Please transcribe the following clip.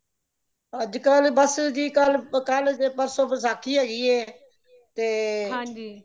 ਅੱਜ ਕਲ ਬੱਸ ਜੀ ਕਲ ਕਲ ਤੇ ਪਰਸੋ ਵਸਾਖ਼ੀ ਹੈਗੀ ਹੈ ਤੇ